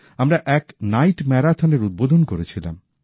আমরা এক নাইট ম্যারাথনের উদ্বোধন করেছিলাম